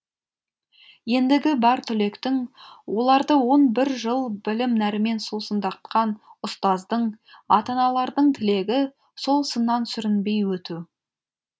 ендігі бар түлектің оларды он бір жыл білім нәрімен сусындатқан ұстаздың ата аналардың тілегі сол сыннан сүрінбей өту